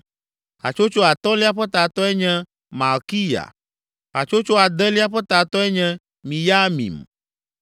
Hatsotso atɔ̃lia ƒe tatɔe nye Malkiya. Hatsotso adelia ƒe tatɔe nye Miyamin.